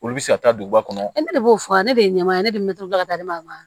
Olu bɛ se ka taa duguba kɔnɔ ne de b'o fɔ ale de ye ma ye ne bɛ miiri ka taa ne ma